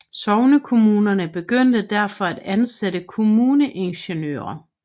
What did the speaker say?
Sognekommunerne begyndte derfor at ansatte kommuneingeniører